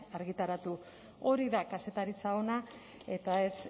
argitaratu hori da kazetaritza ona eta ez